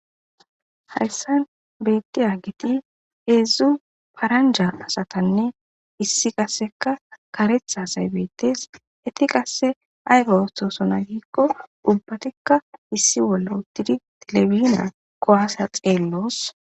hayssan beethiyageti heedzdzu paranja asatanne issi qasseka karetha asay beettes. Eti qasse ayba oothosona giikko ubbatikka issi bolla uttidi telebijina kuwaasa xeelloos.